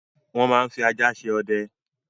Wọ́n máa ń fi ajá ṣe ọdẹ.